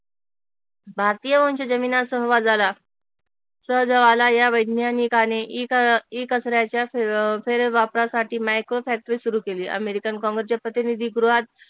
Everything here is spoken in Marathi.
भारतीय वंश सहजवाला या वैज्ञानिकाने इ कचऱ्याच्या फेरे वापरासाठी मायक्रो फॅक्टरी सुरू केली अमेरिकन प्रतिनिधी